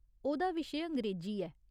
ओह्‌‌‌दा विशे अंग्रेजी ऐ।